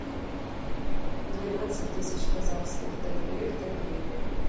двенадцать тысяч казахских тенге в тенге